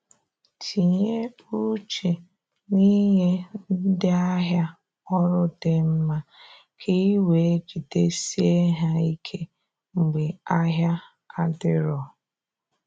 Tinye uche n’inye ndị ahịa ọrụ di mma ka ị wee jidesie ha ike mgbe ahịa adiro